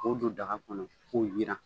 K'o don daga kɔnɔ k'o yiran.